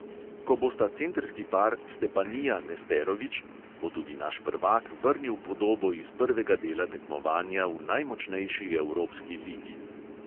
Ko bosta centrski par stepanija-nesterovič, bo tudi naš prvak vrnil podobo iz prvega dela tekmovanja v najmočnejši evropski ligi.